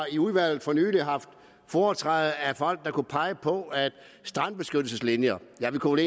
i udvalget haft foretræde af folk der kunne pege på strandbeskyttelseslinjer ja vi kunne